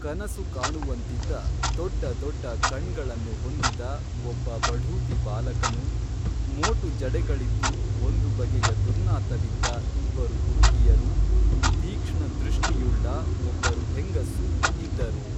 ಕನಸುಕಾಣುವಂತಿದ್ದ ದೊಡ್ಡ ದೊಡ್ಡ ಕಣ್ಗಳನ್ನು ಹೊಂದಿದ ಒಬ್ಬ ಬಢೂತಿ ಬಾಲಕನು ಮೋಟು ಜಡೆಗಳಿದ್ದು ಒಂದು ಬಗೆಯ ದುರ್ನಾತವಿದ್ದ ಇಬ್ಬರು ಹುಡುಗಿಯರು ತೀಕ್ಪ್ಣ ದೃಷ್ಟಿಯುಳ್ಳ ಒಬ್ಬರು ಹೆಂಗಸೂ ಇದ್ದರು